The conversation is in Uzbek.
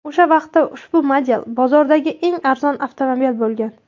O‘sha vaqtda ushbu model bozordagi eng arzon avtomobil bo‘lgan.